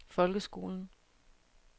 folkeskolen